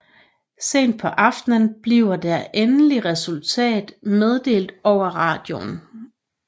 Sent på aftenen bliver det endelige resultat meddelt over radioen